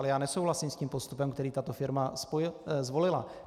Ale já nesouhlasím s tím postupem, který tato firma zvolila.